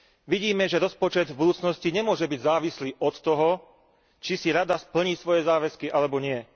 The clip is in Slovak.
Vidíme, že rozpočet v budúcnosti nemôže byť závislý od toho, či si Rada splní svoje záväzky alebo nie.